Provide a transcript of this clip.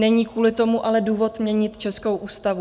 Není kvůli tomu ale důvod měnit českou ústavu.